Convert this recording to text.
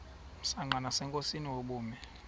msanqa nasenkosini ubume